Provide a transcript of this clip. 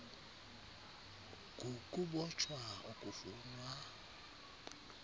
g ukubotshwa okufunwa